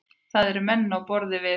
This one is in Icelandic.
Það eru menn á borð við